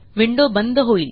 window बंद होईल